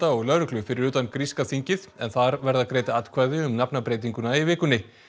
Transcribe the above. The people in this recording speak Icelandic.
og lögreglu fyrir utan gríska þingið en þar verða greidd atkvæði um nafnabreytinguna í vikunni